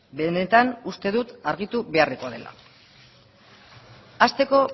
benetan uste dut argitu beharrekoa dela hasteko